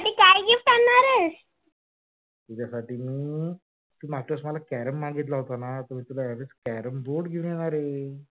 तुझ्यासाठी मी तू मागच्या वेळेस carom मागितला होता ना? तर मी तुला या वेळेस carom board घेऊन येणार आहे.